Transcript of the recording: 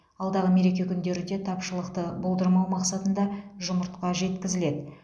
алдағы мереке күндері де тапшылықты болдырмау мақсатында жұмыртқа жеткізіледі